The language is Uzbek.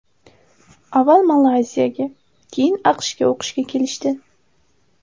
Avval Malayziyaga, keyin AQShga o‘qishga kelishdi.